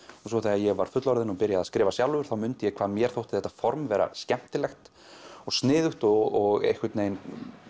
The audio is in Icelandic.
og svo þegar ég var fullorðinn og byrjaði að skrifa sjálfur þá mundi ég hvað mér þótti þetta form vera skemmtilegt og sniðugt og einhvern veginn